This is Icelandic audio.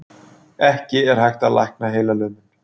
Ekki er hægt að lækna heilalömun.